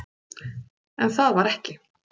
En það var ekki.